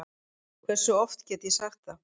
Hversu oft get ég sagt það?